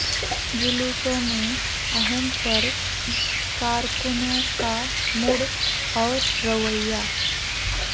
جلوسوں میں اہم فرق کارکنوں کا موڈ اور رویہ